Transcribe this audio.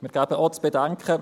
Wir geben auch zu bedenken: